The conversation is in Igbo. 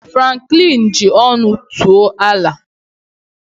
Franklin ji ọṅụ too Allà